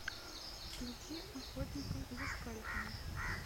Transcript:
включи охотника за скальпами